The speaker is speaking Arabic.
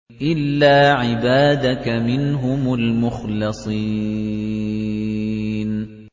إِلَّا عِبَادَكَ مِنْهُمُ الْمُخْلَصِينَ